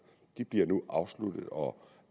de bliver nu afsluttet og